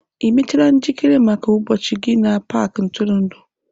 Ị mechaala njikere maka ụbọchị gị na paaki ntụrụndụ?